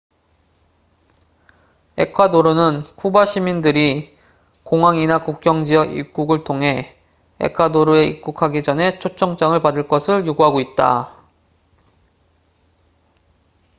에콰도르는 쿠바 시민들이 공항이나 국경지역 입국을 통해 에콰도르에 입국하기 전에 초청장을 받을 것을 요구하고 있다